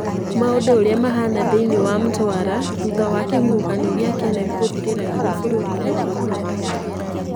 Maũndũ ũria mahana thĩiniĩ wa Mtwara thutha wa kĩhuhũkanio kĩa Kenneth gũthirĩra hinya bũrũri-inĩ wa Mozambique